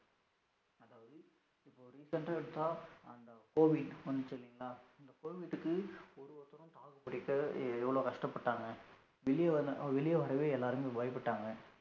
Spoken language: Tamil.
Recent ஆ எடுத்தா அந்த covid வந்துச்சு இல்லைங்களா அந்த covid க்கு ஒரு ஒருதரும் தாக்குபிடிக்க எவ்வளோ கஷ்டபட்டாங்க வெளிய வெளிய வரவே எல்லாரும் பயபட்டாங்க